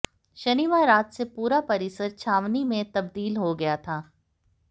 शनिवार रात से पूरा परिसर छावनी में तब्दील हो गया था